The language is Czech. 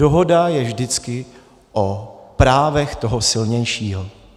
Dohoda je vždycky o právech toho silnějšího.